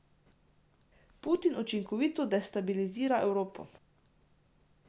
Putin učinkovito destabilizira Evropo.